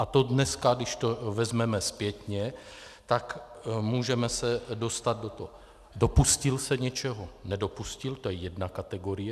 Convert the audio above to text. A to dneska, když to vezmeme zpětně, tak můžeme se dostat do toho - dopustil se něčeho, nedopustil, to je jedna kategorie.